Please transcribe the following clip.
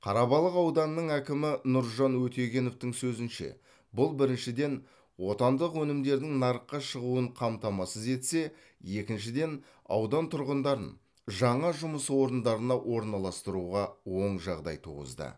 қарабалық ауданының әкімі нұржан өтегеновтің сөзінше бұл біріншіден отандық өнімдердің нарыққа шығуын қамтамасыз етсе екіншіден аудан тұрғындарын жаңа жұмыс орындарына орналастыруға оң жағдай туғызды